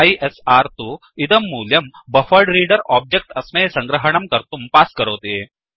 ISR तु इदं मूल्यं बफरेड्रेडर ओब्जेक्ट् अस्मै सङ्ग्रहणं कर्तुं पास् करोति